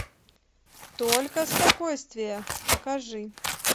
только спокойствие покажи